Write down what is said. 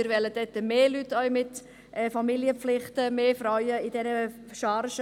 Wir wollen im Kader mehr Leute mit Familienpflichten und mehr Frauen.